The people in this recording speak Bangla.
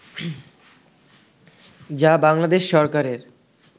যা বাংলাদেশ সরকারের